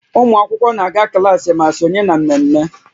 Ụmụ akwụkwọ na-aga klaasị ma sonye na mmemme